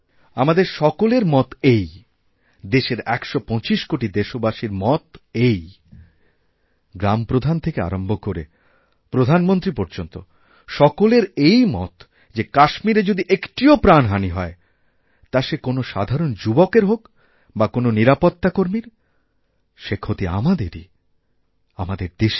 আমাদের সকলের মত এই দেশের একশো পঁচিশ কোটি দেশবাসীর মত এই গ্রামপ্রধান থেকে আরম্ভ করে প্রধানমন্ত্রীপর্যন্ত সকলের এই মত যে কাশ্মীরে যদি একটিও প্রাণহাণি হয় তা সে কোনও সাধারণযুবকের হোক বা কোনও নিরাপত্তাকর্মীর সে ক্ষতি আমাদেরই আমাদের দেশের